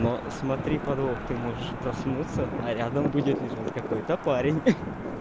но смотри подвох ты можешь проснуться а рядом будет лежать какой-то парень